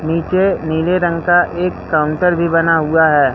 नीचे नीले रंग का एक काउंटर भी बना हुआ है।